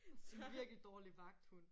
En virkelig dårlig vagthund